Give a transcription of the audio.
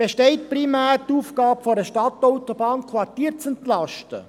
Besteht die Aufgabe einer Stadtautobahn primär darin, Quartiere zu entlasten?